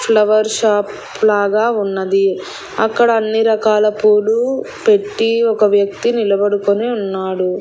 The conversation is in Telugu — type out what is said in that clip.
ఫ్లవర్స్ షాప్ లాగ ఉన్నది అక్కడ అన్నీ రకాల పూలు పెట్టి ఒక వ్యక్తి నిలబడుకొని ఉన్నాడు.